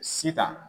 Sitan